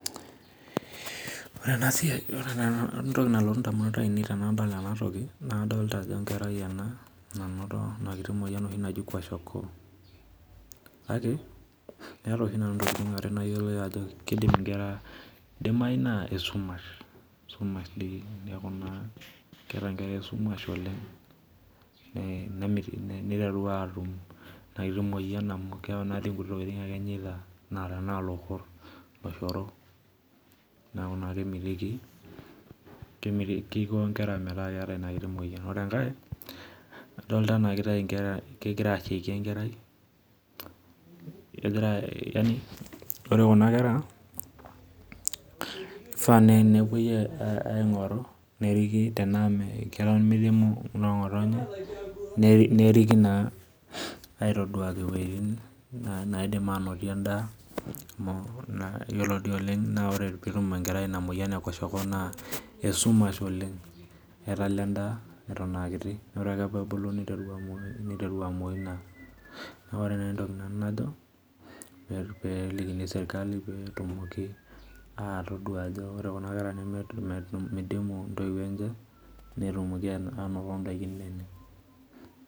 Ore ena siai ore entoki nalotu indamunot tenadol ena toki naa kodoota ajo enkerai ena nanoto ina kiti moyian oshi naji kwashakoo, kake kaata oshi nanu intokitin are nayiolo kiidim, idimayu naa esumash neeku keeta inkera esumash oleng',niteru aatum inakiti moyian amu keeku naake nena kuti tokitin ake enyaita naa tenaa oloshoro naa kiko inkera metaa keeta ina kiti moyian. Ore enkae kodoota ena kigira aishaiki enkerai, ore kuna kifaa nai naa kepoi aingoru neriki enaa keton meriki midimu noonkotonye neriki aitaduaki iwojitin neidim aanotie endaa, naa ore sii oleng' peetum inkera ina moyian ekwashokoo naa esumash oleng',etala endaa eton aakiti ore ake peebulu niteru amoyu naa, neeku ore naa entoki nanu najo peelikini sirkali peetumoki atodol ajo kuna kera ajo midimu intoiwuo enye netumoki aanoto indaikin naanya.